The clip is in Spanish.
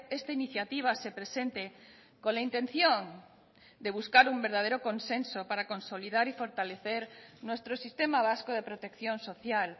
esta iniciativa se presente con la intención de buscar un verdadero consenso para consolidar y fortalecer nuestro sistema vasco de protección social